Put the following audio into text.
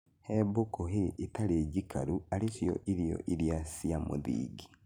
He mbũkũ hay ĩtarĩ njikarũ arĩ cio irio iria cia mũthingi